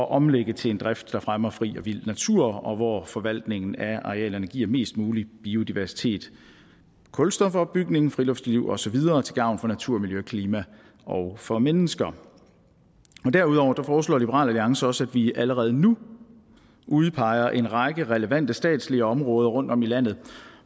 omlægge til en drift der fremmer fri og vild natur og hvor forvaltningen af arealerne giver mest mulig biodiversitet kulstofopbygning friluftsliv og så videre til gavn for natur miljø og klima og for mennesker derudover foreslår liberal alliance også at vi allerede nu udpeger en række relevante statslige områder rundtom i landet